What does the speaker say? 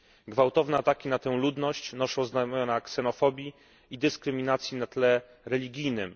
Gwałtowne ataki na tę ludność noszą znamiona ksenofobii i dyskryminacji na tle religijnym.